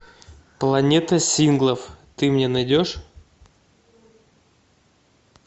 планета синглов ты мне найдешь